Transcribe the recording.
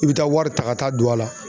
I bɛ taa wari ta ka taa don a la.